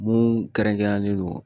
Mun kɛrɛnkɛrɛnnen don